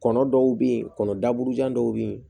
Kɔnɔ dɔw bɛ yen kɔnɔ daburu jan dɔw bɛ yen